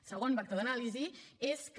el segon vector d’anàlisi és que